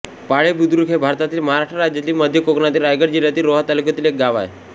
पाळे बुद्रुक हे भारतातील महाराष्ट्र राज्यातील मध्य कोकणातील रायगड जिल्ह्यातील रोहा तालुक्यातील एक गाव आहे